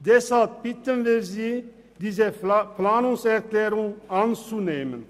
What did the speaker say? Deshalb bitten wir Sie, diese Planungserklärung anzunehmen.